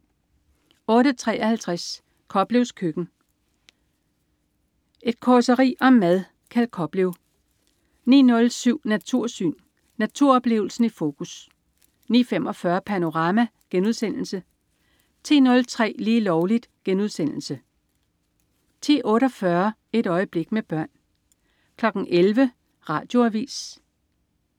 08.53 Koplevs Køkken. Et causeri om mad. Kjeld Koplev 09.07 Natursyn. Naturoplevelsen i fokus 09.45 Panorama* 10.03 Lige Lovligt* 10.48 Et øjeblik med børn 11.00 Radioavis